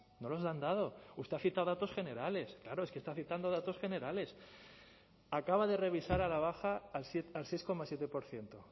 no los han dado usted ha citado datos generales claro es que está citando datos generales acaba de revisar a la baja al seis coma siete por ciento